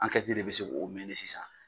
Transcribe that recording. de bɛ se k'o sisan.